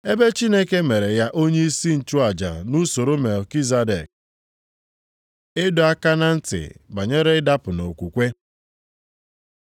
Ebe Chineke mere ya onyeisi nchụaja nʼusoro Melkizedek. Ịdọ aka na ntị banyere ịdapụ nʼokwukwe